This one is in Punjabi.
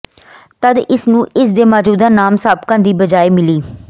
ਤਦ ਇਸ ਨੂੰ ਇਸ ਦੇ ਮੌਜੂਦਾ ਨਾਮ ਸਾਬਕਾ ਦੀ ਬਜਾਏ ਮਿਲੀ